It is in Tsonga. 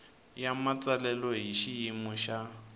ya matsalelo hi xiyimo xa